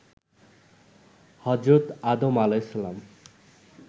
হজরত আদম আ.